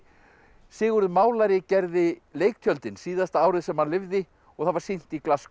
Sigurður málari gerði leiktjöldin síðasta árið sem hann lifði og það var sýnt í